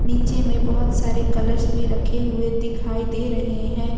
नीचे में बहुत सारे कलर्स भी रखे हुए दिखाई दे रहे हैं।